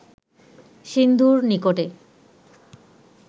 সিন্ধুর নিকটে